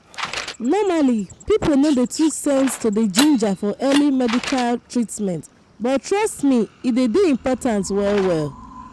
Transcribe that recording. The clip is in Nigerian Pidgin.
normally people no dey too send to dey ginger for early medical treatment but trust me e dey important well well.